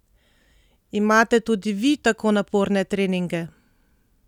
Imate tudi vi tako naporne treninge?